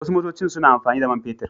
Wasu motocin suna amfani da man fetur.